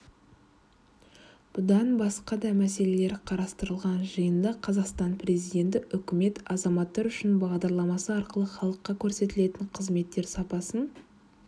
бұдан басқа да мәселелер қарастырылған жиындақазақстан президенті үкімет азаматтар үшін бағдарламасы арқылы халыққа көрсетілетін қызметтер сапасын